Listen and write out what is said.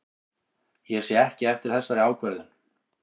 Ég sé ekki eftir þessari ákvörðun.